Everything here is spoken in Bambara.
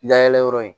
Layɛlɛyɔrɔ ye